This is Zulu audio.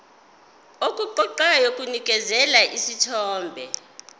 okuqoqayo kunikeza isithombe